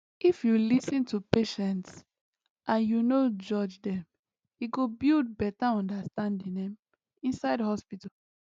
if you lis ten to patients and you no judge dem e go build better understanding ehm inside hospital